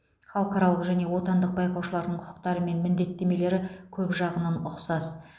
халықаралық және отандық байқаушылардың құқықтары мен міндеттемелері көп жағынан ұқсас